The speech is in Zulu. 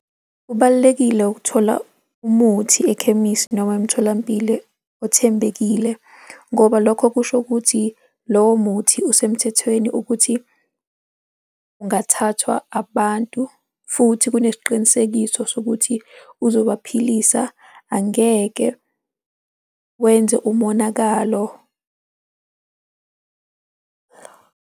Kubalulekile ukuthola umuthi ekhemisi noma emtholampilo othembekile ngoba lokho kusho ukuthi lowo muthi usemthethweni ukuthi ungathathwa abantu futhi kunesiqinisekiso sokuthi uzoba philisa, angeke wenze umonakalo.